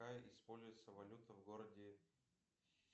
какая используется валюта в городе